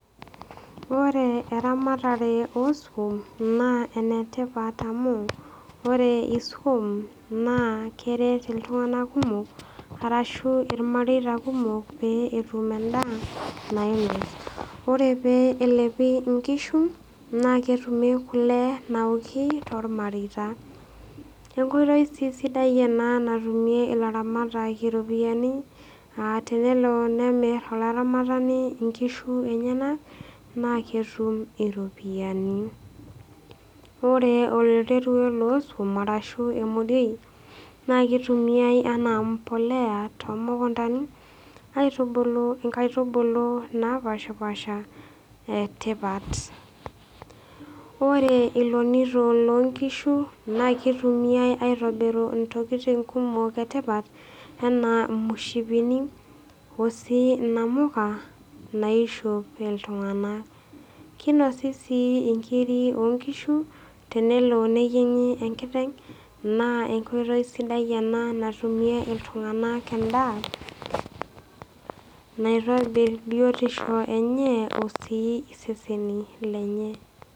Ore eramatare oo iswam naa enetipat amu, ore iswam naa keret iltung'ana kumok oleng' arashu ilmareita kumok pee etum endaa nainos. Ore pee elepi inkishu, naaketumi kule naoki toolmareita. Enkoitoi sii sidai ena natumie ilairamatak iropiani, aa tenelo nemir olaramatani inkishu enyena, naa ketum iropiani. Ore oo iswam arashu emodioi naa keitumiai anaa embolea too mukuntani, aitubulu inkaitubulu napaashipaasha e tipat. Ore ilonito loo nkishu, naa keitumiai aitobirunye intokitin kumok e tipat anaa imushipini o sii inamuka, naishop iltung'ana. Keinosi sii inkiri oo nkishu, tenelo neyieng'i enkiteng' naa enkoitoi sidai ena natumie iltung'ana endaa naitobir biotisho enye o sii iseseni lenye.